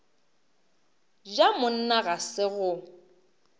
ja monna ga se go